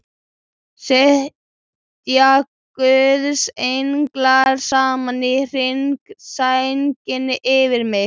Sitji guðs englar saman í hring, sænginni yfir minni.